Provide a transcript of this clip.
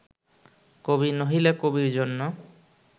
কবি নহিলে কবির জন্য